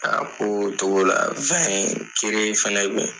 A b'o togo la . kere fɛnɛ be yen.